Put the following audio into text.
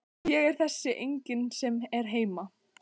Ég er þessi enginn sem er heima.